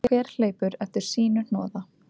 Hver hleypur eftir sínu hnoða.